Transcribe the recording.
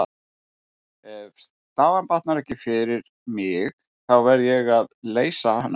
Ef staðan batnar ekki fyrir mig, þá verð ég að leysa hana.